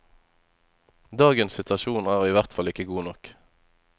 Dagens situasjon er i hvert fall ikke god nok.